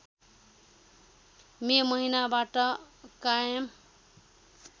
मे महिनाबाट कायम